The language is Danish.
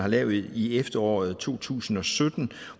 lavede i efteråret to tusind og sytten